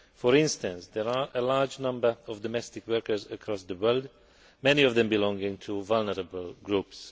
For instance, there are a large number of domestic workers across the world, many of them belonging to vulnerable groups.